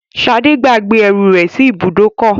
Ṣadé gbàgbé ẹrù rẹ̀ sí ibùdókọ̀.